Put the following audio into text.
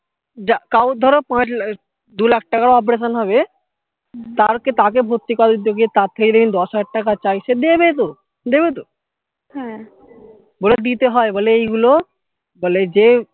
কারুর ধরো পাঁচ দু লাখ টাকার operation হবে তার থেকে তাকে ভর্তি করালে তার থেকে যদি আমি দশ হাজার টাকা যদি চাই সে দেবে তো দেবে তো বলে দিতে হয় বলে এগুলো বলে যে